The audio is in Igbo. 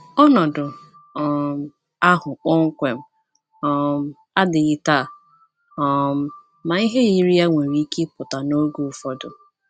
Ọnọdụ um ahụ kpọmkwem um adịghị taa, um ma ihe yiri ya nwere ike ịpụta n’oge ụfọdụ.